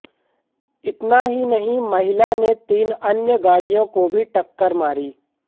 इतना ही नहीं महिला ने तीन अन्य गाड़ियों को भी टक्कर मारी